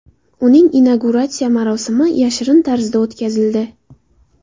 Uning inauguratsiya marosimi yashirin tarzda o‘tkazildi.